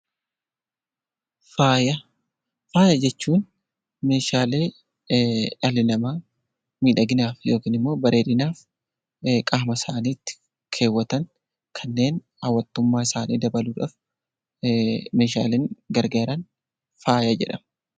Faaya Faaya jechuun Meeshaalee dhalli namaa miidhaginaaf yookaan bareedinaaf qaama isaaniitti keewwatan kanneen hawwatummaa isaanii dabaluuf Meeshaaleen garaagaran faaya jedhamu.